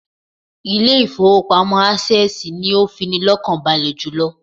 Ilé ìfowópamọ́ Access ni ó fini lọ́kàn balè jùlọ